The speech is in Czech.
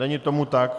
Není tomu tak.